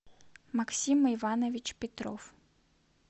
максим иванович петров